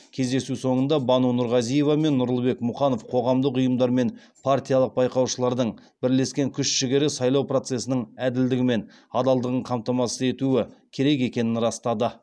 кездесу соңында бану нұрғазиева мен нұрлыбек мұқанов қоғамдық ұйымдар мен партиялық байқаушылардың бірлескен күш жігері сайлау процесінің әділдігі мен адалдығын қамтамасыз етуі керек екенін растады